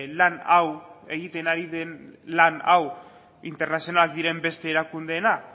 lan hau egiten ari den lan hau internazional diren beste erakundeena